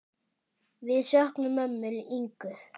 Við söknum ömmu Ingu.